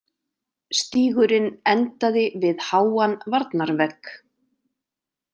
Stígurinn endaði við háan varnarvegg.